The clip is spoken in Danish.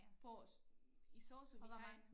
På i sosu vi har en